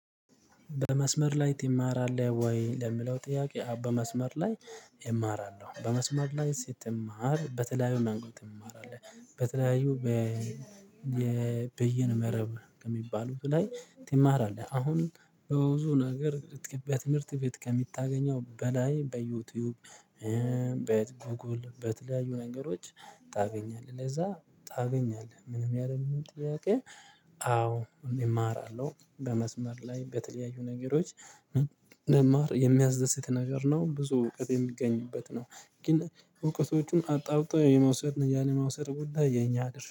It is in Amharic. በመስመር ላይ ትማራለህ ወይ? ለምለው ጥያቄ በመስመር ላይ እማራለሁ በመስመር ላይ ስትማር በተለያዩ መንገድ ትማራለህ? በተለያዩ በ የበይነ መረብ በሚባሉት ላይ ትማራለህ። አሁን በብዙ ነገር በትምህርት ቤት ከምታገኘው በላይ በዩቲዩብ በጉጉል በተለያዩ ነገሮች ታገኛለህ ለዛ ታገኛለህ። ምንም ያለምንም ጥያቄ አዎ እማራለሁ በመስመር ላይ በተለያዩ ነገሮች ም መማር የሚያስደስት ነገር ነው። ብዙ እውቀት የሚገኝበት ነው። ግን እውቀቶቹን አጣርቶ የመውሰድን ያን የመውሰድ ጉዳይ የኛ ድርሻ